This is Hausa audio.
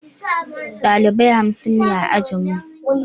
Ɗalibai hamsin ne a ajinmu